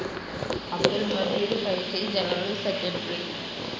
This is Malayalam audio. Abdul Majeed Faizy, general secretary P.